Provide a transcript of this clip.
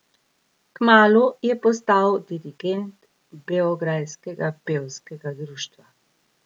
Kmalu je postal dirigent Beograjskega pevskega društva.